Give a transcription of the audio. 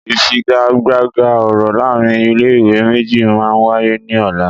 Ìfigagbága ọ̀rọ̀ láàárín ilé ìwé méjì máa wáyé ní ọ̀la